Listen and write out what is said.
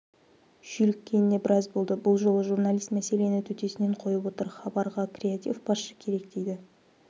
шүйліккеніне біраз болды бұл жолы журналист мәселені төтесінен қойып отыр хабарға креатив басшы керек дейді